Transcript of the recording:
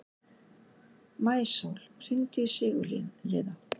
Maísól, hringdu í Sigurliða.